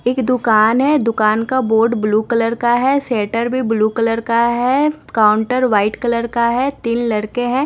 एक दुकान है दुकान का बोर्ड ब्लू कलर का है सेटर भी ब्लू कलर का है काउंटर व्हाइट कलर का है तीन लड़के हैं।